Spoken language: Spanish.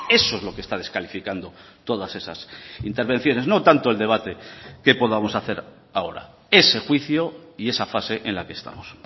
eso es lo que está descalificando todas esas intervenciones no tanto el debate que podamos hacer ahora ese juicio y esa fase en la que estamos